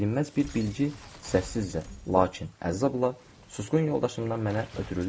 bilməz bir bilgi səssizcə, lakin əzabla susqun yoldaşımdan mənə ötürülür,